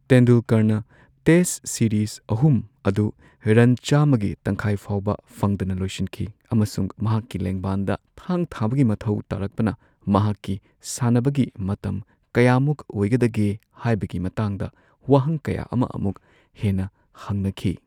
ꯇꯦꯟꯗꯨꯜꯀꯔꯅ test series ꯑꯍꯨꯝ ꯑꯗꯨ run ꯆꯥꯝꯃꯒꯤ ꯇꯪꯈꯥꯏ ꯐꯥꯎꯕ ꯐꯪꯗꯅ ꯂꯣꯏꯁꯤꯟꯈꯤ, ꯑꯃꯁꯨꯡ ꯃꯍꯥꯛꯀꯤ ꯂꯦꯡꯕꯥꯟꯗ ꯊꯥꯡ ꯊꯥꯕꯒꯤ ꯃꯊꯧ ꯇꯥꯔꯛꯄꯅ ꯃꯍꯥꯛꯀꯤ ꯁꯥꯅꯕꯒꯤ ꯃꯇꯝ ꯀꯌꯥꯃꯨꯛ ꯑꯣꯏꯒꯗꯒꯦ ꯍꯥꯏꯕꯒꯤ ꯃꯇꯥꯡꯗ ꯋꯥꯍꯪ ꯀꯌꯥ ꯑꯃ ꯑꯃꯨꯛ ꯍꯦꯟꯅ ꯍꯪꯅꯈꯤ꯫